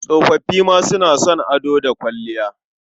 Tsofoffi ma suna son ado da kwalliya.